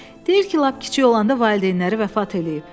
Deyir ki, lap kiçik olanda valideynləri vəfat eləyib.